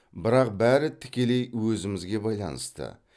бірақ бәрі тікелей өзімізге байланысты